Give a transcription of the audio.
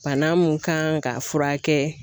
Bana mun kan ka furakɛ